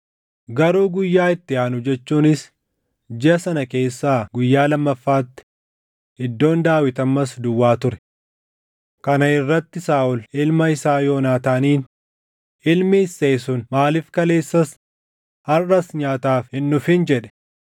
Garuu guyyaa itti aanu jechuunis jiʼa sana keessaa guyyaa lammaffaatti iddoon Daawit ammas duwwaa ture. Kana irratti Saaʼol ilma isaa Yoonaataaniin, “Ilmi Isseey sun maaliif kaleessas harʼas nyaataaf hin dhufin?” jedhe.